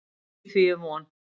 Í því er von.